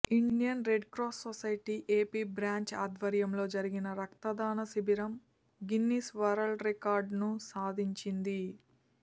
Indian Red Cross society AP branch ఆధ్వర్యంలో జరిగిన రక్తదాన శిబిరం గిన్నిస్ వరల్డ్ రికార్డును సాధిం చింది